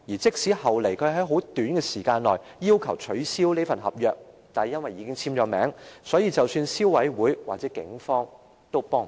即使後來他在很短時間內已要求取消這份合約，但因為已經簽署合約，即使是消費者委員會和警方也愛莫能助。